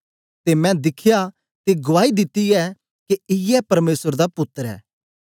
ते मैं दिखया ते गुआई दिती ऐ के इयै परमेसर दा पुत्तर ऐ